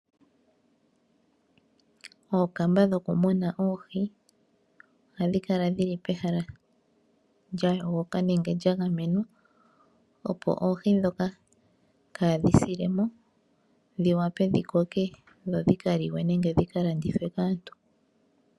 Ookamba dhokumuna oohi ohadhi kala dhili pehala lya yogo ka nenge lya gamenwa, opo oohi ndhoka kaadhi sile mo dhi wape dhi koke dhi li we nenge dhi ka landithwe kaantu.